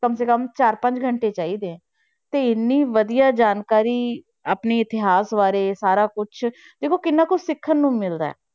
ਕਮ ਸੇ ਕਮ ਚਾਰ ਪੰਜ ਘੰਟੇ ਚਾਹੀਦੇ ਹੈ, ਤੇ ਇੰਨੀ ਵਧੀਆ ਜਾਣਕਾਰੀ ਆਪਣੇ ਇਤਿਹਾਸ ਬਾਰੇ ਸਾਰਾ ਕੁਛ ਦੇਖੋ ਕਿੰਨਾ ਕੁਛ ਸਿੱਖਣ ਨੂੰ ਮਿਲਦਾ ਹੈ,